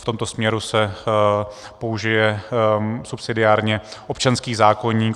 V tomto směru se použije subsidiárně občanský zákoník.